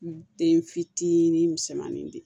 Den fitinin misɛnmanin de ye